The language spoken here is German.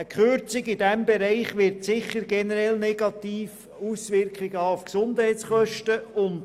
Eine Kürzung in diesem Bereich wird sich sicher generell negativ auf die Gesundheitskosten auswirken.